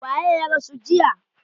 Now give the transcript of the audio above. Waye ya rasu jiya?